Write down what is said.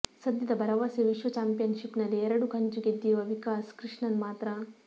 ಸದ್ಯದ ಭರವಸೆ ವಿಶ್ವ ಚಾಂಪಿಯನ್ಶಿಪ್ನಲ್ಲಿ ಎರಡು ಕಂಚು ಗೆದ್ದಿರುವ ವಿಕಾಸ್ ಕೃಷ್ಣನ್ ಮಾತ್ರ